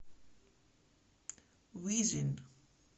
визин